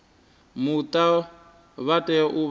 muta vha tea u vha